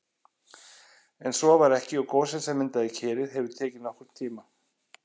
En svo var ekki og gosið sem myndaði Kerið hefur tekið nokkurn tíma.